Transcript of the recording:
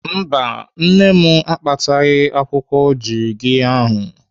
Mba, nne m akpataghị akwụkwọ jirigiya ahụ.